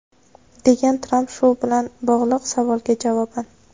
degan Tramp shu bilan bog‘liq savolga javoban.